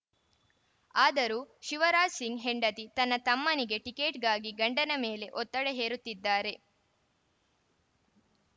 ಆದರೂ ಶಿವರಾಜ್‌ ಸಿಂಗ್‌ ಹೆಂಡತಿ ತನ್ನ ತಮ್ಮನಿಗೆ ಟಿಕೆಟ್‌ಗಾಗಿ ಗಂಡನ ಮೇಲೆ ಒತ್ತಡ ಹೇರುತ್ತಿದ್ದಾರೆ